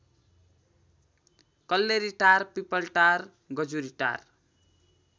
Kalleritar Pipaltar Gajuritar